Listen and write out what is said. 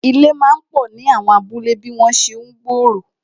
Ilé máa pò ni àwọn abúlé bí wọn ṣe ń gbòòrò